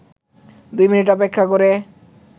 ২ minute অপেক্ষা করে